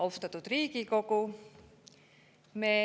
Austatud Riigikogu!